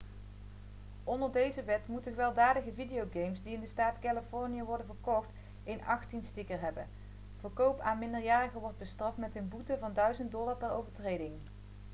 onder deze wet moeten gewelddadige videogames die in de staat californië worden verkocht een '18'-sticker hebben. verkoop aan een minderjarige wordt bestraft met een boete van $ 1000 per overtreding